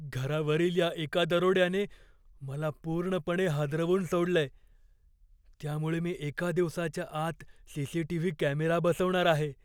घरावरील या एका दरोड्याने मला पूर्णपणे हादरवून सोडलंय, त्यामुळे मी एका दिवसाच्या आत सी.सी.टी.व्ही. कॅमेरा बसवणार आहे.